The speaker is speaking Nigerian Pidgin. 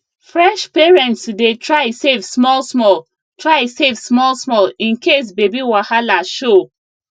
fresh parents dey try save smallsmall try save smallsmall in case baby wahala show